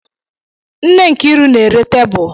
Nne Nkịru na-ere tebụl.